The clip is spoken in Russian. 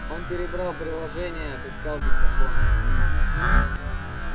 он перебрал приложения отыскал диктофон